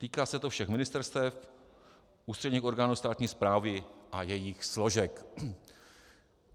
Týká se to všech ministerstev, ústředních orgánů státní správy a jejích složek.